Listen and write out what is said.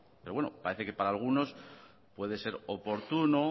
pero bueno parece que para algunos puede ser oportuno